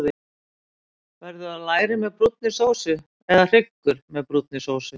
Verður það læri með brúnni sósu, eða hryggur með brúnni sósu?